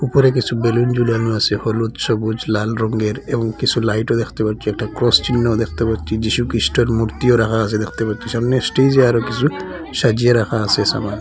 ওপরে কিসু বেলুন ঝুলানো আসে হলুদ সবুজ লাল রঙ্গের এবং কিসু লাইটও দ্যাখতে পাচ্ছি একটা ক্রস চিহ্নও দ্যাখতে পাচ্ছি যিশুখিস্টের মূর্তিও রাখা আসে দ্যাখতে পাচ্ছি সামনে স্টেজে আরো কিসু সাজিয়ে রাখা আসে সামান।